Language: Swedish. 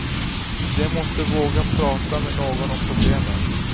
De måste våga prata med någon om problemen.